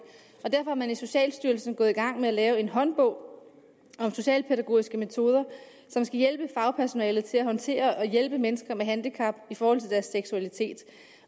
og derfor er socialstyrelsen gået i gang med at lave en håndbog om socialpædagogiske metoder som skal hjælpe fagpersonalet til at håndtere og hjælpe mennesker med handicap i forhold til deres seksualitet